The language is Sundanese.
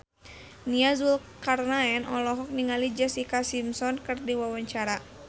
Nia Zulkarnaen olohok ningali Jessica Simpson keur diwawancara